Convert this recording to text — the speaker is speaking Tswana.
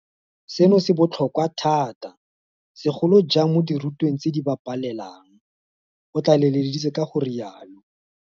Seno se botlhokwa thata, segolo jang mo dirutweng tseo di ba pelelang, o tlaleletsa ka go rialo.